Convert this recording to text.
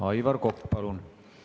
Aivar Kokk, palun!